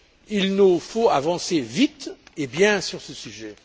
Il nous faut avancer vite et bien sur ce sujet.